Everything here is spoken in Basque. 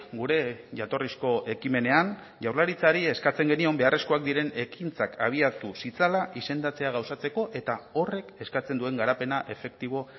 gure jatorrizko ekimenean jaurlaritzari eskatzen genion beharrezkoak diren ekintzak abiatu zitzala izendatzea gauzatzeko eta horrek eskatzen duen garapena efektibo